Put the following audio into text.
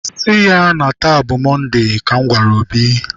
Sị ya na taa bụ Mọnde!, ka m gwara Obi.